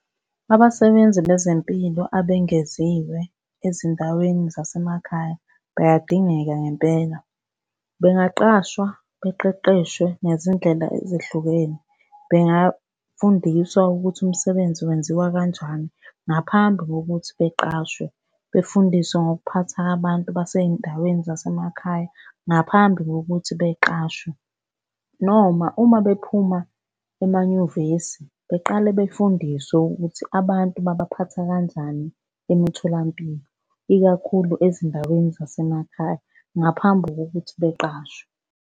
Abasebenzi bezempilo abangeziwe ezindaweni zasemakhaya bayadingeka ngempela. Bengaqashwa beqeqeshwe ngezindlela ezehlukene. Bengafundiswa ukuthi umsebenzi wenziwa kanjani ngaphambi kokuthi beqashwe. Befundiswe ngokuphatha abantu basey'ndaweni zasemakhaya ngaphambi kokuthi beqashwe noma uma bephuma emanyuvesi beqale befundiswe ukuthi abantu babaphatha kanjani emitholampilo, ikakhulu ezindaweni zasemakhaya, ngaphambi kokuthi beqashwe.